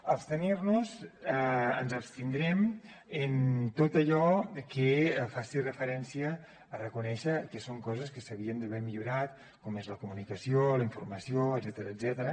abstenir nos ens abstindrem en tot allò que faci referència a reconèixer que són coses que s’havien d’haver millorat com és la comunicació la informació etcètera